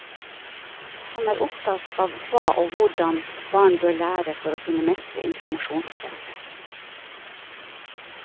Han er opptatt av hva og hvordan barn bør lære for å kunne mestre informasjonspresset.